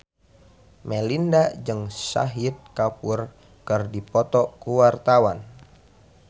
Melinda jeung Shahid Kapoor keur dipoto ku wartawan